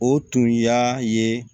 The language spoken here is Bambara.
O tun y'a ye